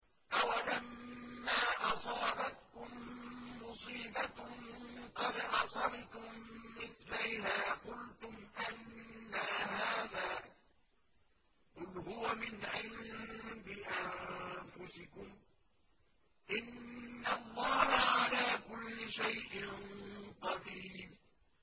أَوَلَمَّا أَصَابَتْكُم مُّصِيبَةٌ قَدْ أَصَبْتُم مِّثْلَيْهَا قُلْتُمْ أَنَّىٰ هَٰذَا ۖ قُلْ هُوَ مِنْ عِندِ أَنفُسِكُمْ ۗ إِنَّ اللَّهَ عَلَىٰ كُلِّ شَيْءٍ قَدِيرٌ